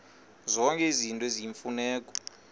zonke izinto eziyimfuneko